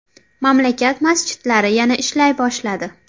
Mamlakat masjidlari yana ishlay boshladi .